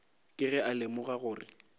ke ge a lemoga gore